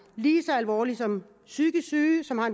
lige så alvorligt som psykisk sygdom og